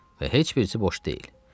Və heç birisi boş deyil.